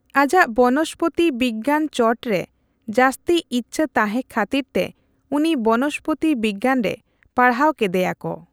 ᱟᱡᱟᱜ ᱵᱚᱱᱚᱥᱯᱚᱛᱤ ᱣᱤᱜᱭᱟᱱ ᱪᱚᱴ ᱨᱮ ᱡᱟ.ᱥᱛᱤ ᱤᱪᱷᱟᱹ ᱛᱟᱦᱮᱸ ᱠᱷᱟᱹᱛᱤᱨ ᱛᱮ ᱩᱱᱤ ᱵᱚᱱᱚᱥᱯᱚᱛᱤ ᱣᱤᱜᱭᱟᱱ ᱨᱮ ᱯᱟᱲᱦᱟᱣ ᱠᱮᱫᱮᱭᱟ ᱠᱚ ᱾